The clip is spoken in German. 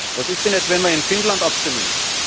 Was ist denn jetzt, wenn wir in Finnland abstimmen?